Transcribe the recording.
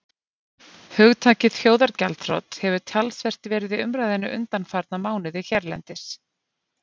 Hugtakið þjóðargjaldþrot hefur talsvert verið í umræðunni undanfarna mánuði hérlendis.